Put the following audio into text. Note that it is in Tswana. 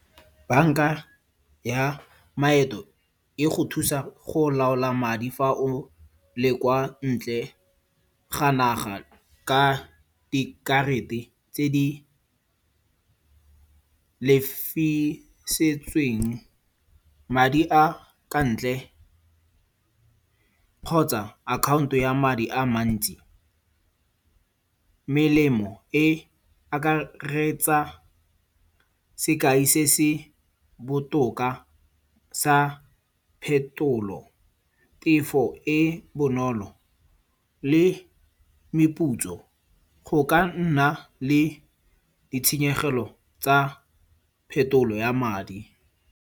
Banka ya maeto e go thusa go laola madi fa o le kwa ntle ga naga ka dikarata tse di lefisetsweng. Madi a ka ntle kgotsa account-o ya madi a mantsi. Melemo e akaretsa sekai se se botoka sa phetolo, tefo e bonolo le meputso. Go ka nna le ditshenyegelo tsa phetolo ya madi.